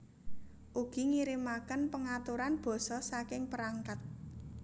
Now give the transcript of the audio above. Ugi ngirimaken pengaturan basa saking perangkat